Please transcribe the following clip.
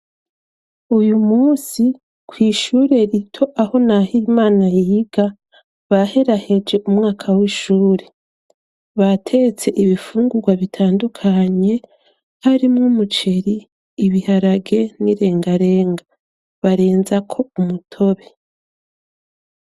uyu munsi kwishuri rito aho nahimana yiga baheraheje umwaka w'ishuri batetse ibifungurwa bitandukanye harimw umuceri ibiharage n'irengarenga barenza ko umutobe